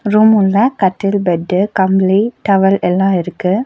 Room உள்ள கட்டில் bed கம்ளி டவல் எல்லா இருக்கு.